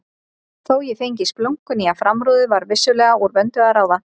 Þó ég fengi splunkunýja framrúðu var vissulega úr vöndu að ráða.